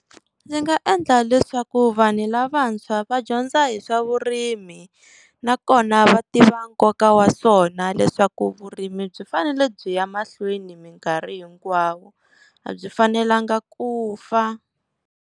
Ndzi nga endla leswaku vanhu lavantshwa va dyondza hi swa vurimi na kona va tiva nkoka wa swona leswaku vurimi byi fanele byi ya mahlweni minkarhi hinkwayo, a byi fanelanga ku fa.